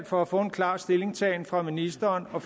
for at få en klar stillingtagen fra ministerens og